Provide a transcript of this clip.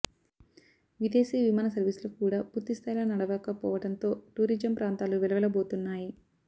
విదేశీ విమాన సర్వీసులు కూడా పూర్థిస్థాయిలో నడవకపోవడంతో టూరిజం ప్రాంతాలు వెల వెల బోతున్నాయి